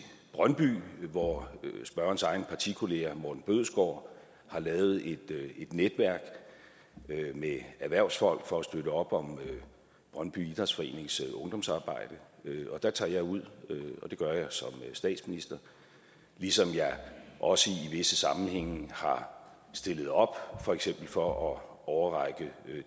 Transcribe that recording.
brøndby hvor spørgerens egen partikollega morten bødskov har lavet et netværk med erhvervsfolk for at støtte op om brøndby idrætsforenings ungdomsarbejde der tager jeg ud og det gør jeg som statsminister ligesom jeg også i visse sammenhænge har stillet op for eksempel for at overrække